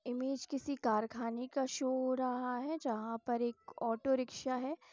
Image किसी कारखाने का शो हो रहा है जहाँ पर एक ऑटो रिक्शा है।